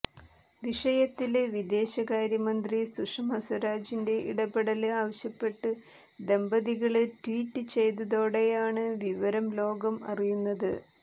വിഷയത്തില് വിദേശകാര്യമന്ത്രി സുഷമ സ്വരാജിന്റെ ഇടപെടല് ആവശ്യപ്പെട്ട് ദമ്പതികള് ട്വീറ്റ് ചെയ്തതോടെയാണ് വിവരം ലോകം അറിയുന്നത്